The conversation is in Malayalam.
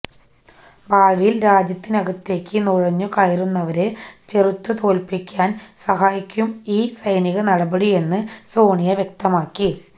ഭാവിയിൽ രാജ്യത്തിനകത്തേക്ക് നുഴഞ്ഞു കയറുന്നവരെ ചെറുത്തുതോൽപിക്കാൻ സഹായിക്കും ഈ സൈനിക നടപടിയെന്ന് സോണിയ വ്യക്തമാക്കി